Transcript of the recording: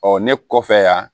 Ɔ ne kɔfɛ yan